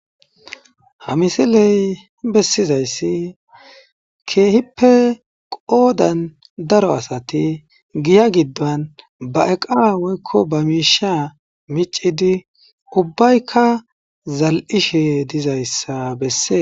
Ha misiley besizays kehippe qodan daro asati hiya gidon ba eqara woy ba mishar mic'idi ubayka zal'ishe dizaysa beses.